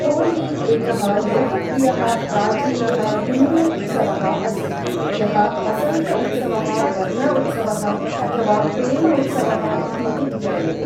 होली एकः लोकप्रियः प्राचीनः हिन्दू उत्सवः अस्ति, यः वसन्त उत्सवः, वर्ण उत्सवः अथवा प्रेम उत्सवः इति अपि ज्ञायते ।